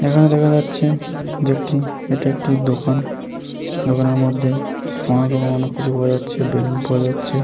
এইখানে দেখা যাচ্ছে যে একটি এটা একটি দোকান। দোকানের মধ্যে অনেক কিছু পাওয়া যাচ্ছে। বেলুন পাওয়া যাচ্ছে।